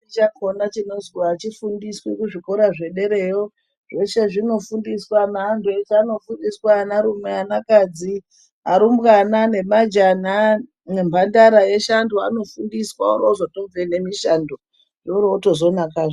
Chakona chinozwi achi fundiswi ku zvikora zve derayo zvoshe zvino fundiswa ne antu eshe ano fundiswa ana rume ana kadzi arumbwana ne majana ne mbandara eshe antu anofundiswa ori ozo tobve ne mishando wori wozoto nakazve.